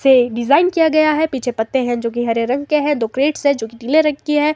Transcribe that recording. से डिजाइन किया गया है पीछे पत्ते हैं जो हरे रंग के हैं दो क्रेट्स है जो नीले रंग की है।